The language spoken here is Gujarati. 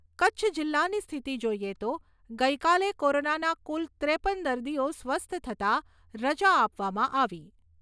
કચ્છ જિલ્લાની સ્થિતિ જોઈએ તો ગઈકાલે કોરોનાના કુલ ત્રેપન દર્દીઓ સ્વસ્થ થતા રજા આપવામાં આવી.